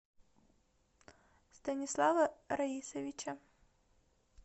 станислава раисовича